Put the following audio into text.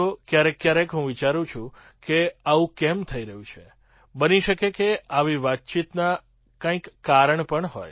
ક્યારેક ક્યારેક હું વિચારું છું કે આવું કેમ થઈ રહ્યું છે બની શકે કે આવી વાતચીતનાં કંઈક કારણ પણ હોય